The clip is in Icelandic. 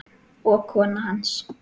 og kona hans.